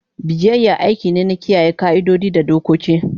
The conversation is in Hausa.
Biyayya aiki ne na kiyaye ƙa'idodi da dokoki.